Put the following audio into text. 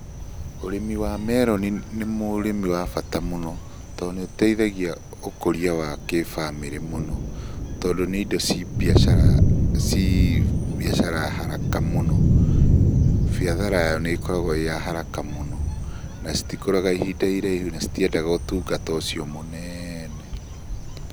Ũrĩmi wa meroni nĩ ũrĩmi wa bata mũno, tondũ nĩũteithagia ũkũria wa kĩbamĩrĩ mũno. Tondũ nĩ indo ci mbiacara, ci mbiacara ya haraka mũno. biathara yayo nĩkoragwo ĩya haraka mũno, nacitikũraga ihinda iraihu, na citiendaga ũtungata ũcio mũnene.